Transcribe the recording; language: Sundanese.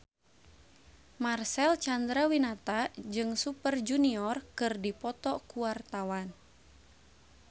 Marcel Chandrawinata jeung Super Junior keur dipoto ku wartawan